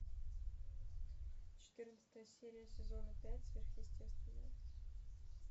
четырнадцатая серия сезона пять сверхъестественное